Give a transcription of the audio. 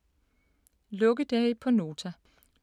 Lukkedage på Nota